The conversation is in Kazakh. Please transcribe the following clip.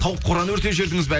тауық қораны өртеп жібердіңіз ба